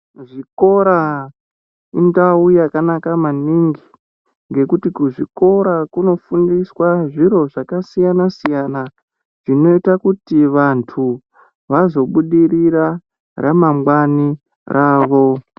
Zvikora indau yakanaka maningi ngekuti kuzvikora kunofundiswe zviro zvakasiyana siyana zvinoite kuti vantu vazobudirira ramangwani ravo.